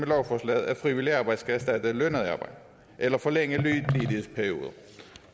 lovforslaget at frivilligt arbejde skal erstatte lønnet arbejde eller forlænge ledighedsperioder